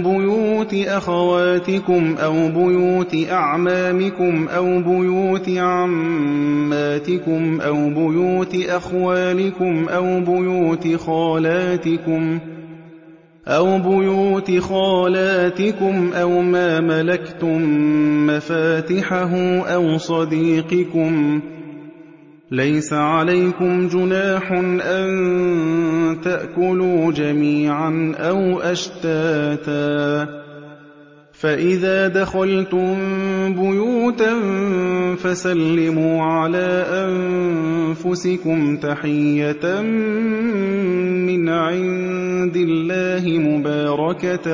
بُيُوتِ أَخَوَاتِكُمْ أَوْ بُيُوتِ أَعْمَامِكُمْ أَوْ بُيُوتِ عَمَّاتِكُمْ أَوْ بُيُوتِ أَخْوَالِكُمْ أَوْ بُيُوتِ خَالَاتِكُمْ أَوْ مَا مَلَكْتُم مَّفَاتِحَهُ أَوْ صَدِيقِكُمْ ۚ لَيْسَ عَلَيْكُمْ جُنَاحٌ أَن تَأْكُلُوا جَمِيعًا أَوْ أَشْتَاتًا ۚ فَإِذَا دَخَلْتُم بُيُوتًا فَسَلِّمُوا عَلَىٰ أَنفُسِكُمْ تَحِيَّةً مِّنْ عِندِ اللَّهِ مُبَارَكَةً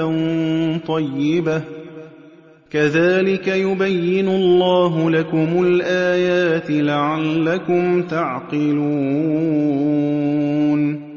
طَيِّبَةً ۚ كَذَٰلِكَ يُبَيِّنُ اللَّهُ لَكُمُ الْآيَاتِ لَعَلَّكُمْ تَعْقِلُونَ